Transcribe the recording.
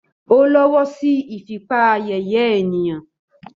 Ó ìåíÿ íåò íè ñ÷å÷åííÿ.